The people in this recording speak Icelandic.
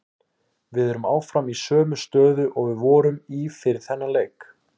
Við erum áfram í sömu stöðu og við vorum í fyrir þennan leik.